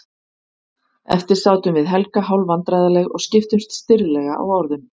Eftir sátum við Helga hálfvandræðaleg og skiptumst stirðlega á orðum.